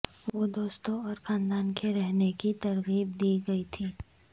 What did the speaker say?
وہ دوستوں اور خاندان کے رہنے کی ترغیب دی گئی تھی